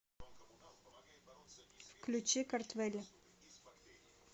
включи картвелли